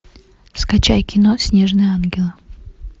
скачай кино снежные ангелы